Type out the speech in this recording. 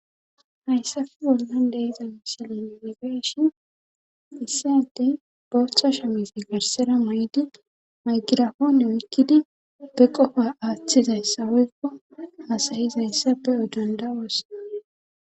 hayssafe bolan deyiza mishile ininigeeshi issadey bootha sha misi garsera may7di maygira hoone oykkidi be qofa aaththizayssa woykko hasayizayssa be'o danda7oos